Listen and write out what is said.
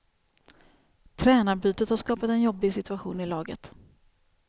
Tränarbytet har skapat en jobbig situation i laget.